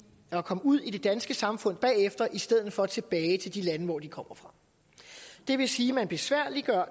at komme ud i det danske samfund bagefter i stedet for tilbage til de lande hvor de kommer fra det vil sige at man besværliggør